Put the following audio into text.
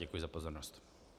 Děkuji za pozornost.